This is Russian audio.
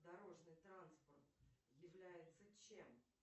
дорожный транспорт является чем